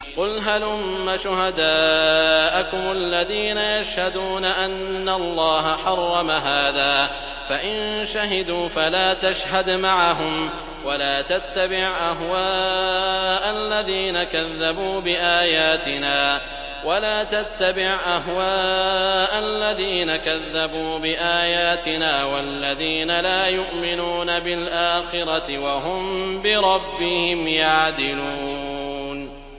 قُلْ هَلُمَّ شُهَدَاءَكُمُ الَّذِينَ يَشْهَدُونَ أَنَّ اللَّهَ حَرَّمَ هَٰذَا ۖ فَإِن شَهِدُوا فَلَا تَشْهَدْ مَعَهُمْ ۚ وَلَا تَتَّبِعْ أَهْوَاءَ الَّذِينَ كَذَّبُوا بِآيَاتِنَا وَالَّذِينَ لَا يُؤْمِنُونَ بِالْآخِرَةِ وَهُم بِرَبِّهِمْ يَعْدِلُونَ